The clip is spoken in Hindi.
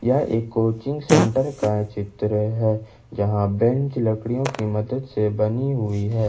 यह एक कोचिंग सेंटर का चित्र है जहां बेंच लकड़ियों की मदद से बनी हुई है।